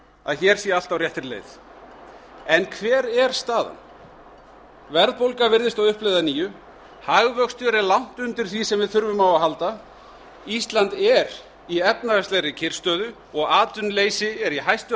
að hér sé allt á réttri leið en hver er staðan verðbólga virðist á uppleið að nýju hagvöxtur er langt undir því sem við þurfum á að halda ísland er í efnahagslegri kyrrstöðu og atvinnuleysi er í hæstu